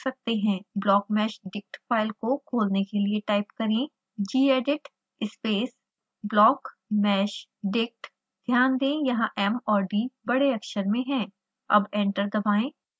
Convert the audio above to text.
blockmeshdict file को खोलने के लिए टाइप करें gedit space blockmeshdict